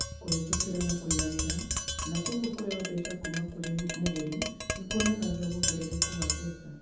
Kũhĩtũkĩra na kũiganĩra, na kwoguo kũheo mbeca kuuma kũrĩ mũgũri nĩ kuonanagia wongerereku wa mbeca.